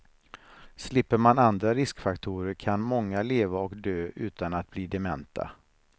Slipper man andra riskfaktorer kan många leva och dö utan att bli dementa.